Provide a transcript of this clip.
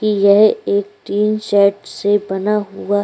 यह एक तीन सेट से बना हुआ --